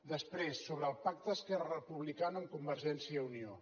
després sobre el pacte d’esquerra republicana amb convergència i unió